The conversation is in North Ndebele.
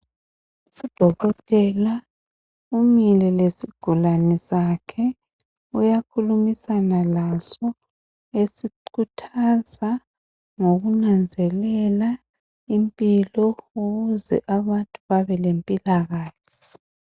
Udokotela umile lesigulane sakhe uyakhulumisana laso esikhuthaza ngokunanzelela impilo ukuze abantu babe lempilakahle.